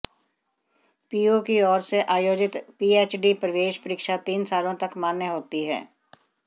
PU की ओर से आयोजित पीएचडी प्रवेश परीक्षा तीन सालों तक मान्य होती है